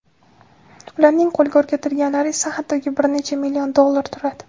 Ularning qo‘lga o‘rgatilganlari esa hattoki bir necha million dollar turadi.